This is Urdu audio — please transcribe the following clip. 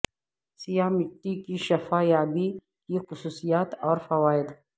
سیاہ مٹی کی شفا یابی کی خصوصیات اور فوائد